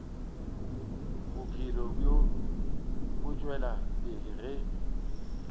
bophelo bo tšwela pele ge